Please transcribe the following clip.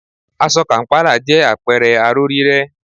Aṣọ kàm̀pálà jẹ́ àpẹẹrẹ aró rírẹ́